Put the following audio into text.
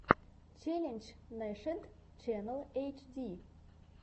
челлендж нашид ченнал эйчди